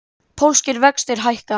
Pólskir vextir hækka